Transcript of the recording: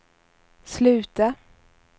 sluta